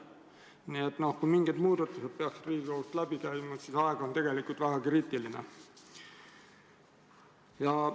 Nii et kui mingid muudatused peaksid Riigikogust läbi käima, siis aeg on tegelikult väga kriitiline.